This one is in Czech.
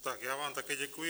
Tak, já vám také děkuji.